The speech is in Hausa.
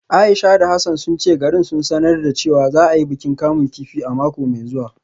Aisha da Hassana sun ce garin sun sanar da cewa za a yi bikin kamun kifi a mako mai zuwa